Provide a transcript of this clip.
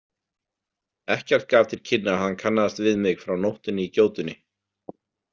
Ekkert gaf til kynna að hann kannaðist við mig frá nóttinni í gjótunni.